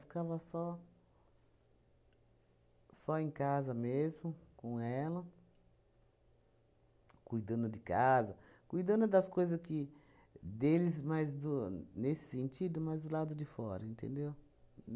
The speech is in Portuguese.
Ficava só só em casa mesmo, com ela, cuidando de casa, cuidando das coisas que deles mas do, nesse sentido, mas do lado de fora, entendeu?